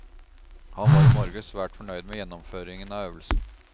Han var i morges svært fornøyd med gjennomføringen av øvelsen.